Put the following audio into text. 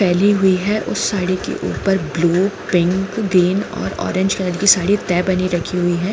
फैली हुई है उस साड़ी के ऊपर ब्लू पिंक ग्रीन और ऑरेंज कलर के साड़ी ते बनी रखी हुई है।